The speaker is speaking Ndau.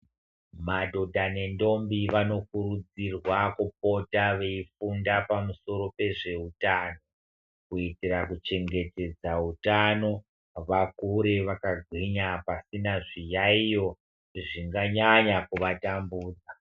Madhodha nendombi vanokurudzirwa kupota veifunda panusoro pezveutano kuitira kuchengetedza utano vakure vakagwinya pasina zviyaiyo zvinganyanya kuvatambudza